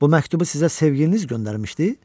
Bu məktubu sizə sevgiliniz göndərmişdi?